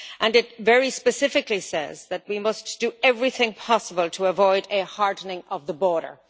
It very specifically says that we must do everything possible to avoid a hardening of the border.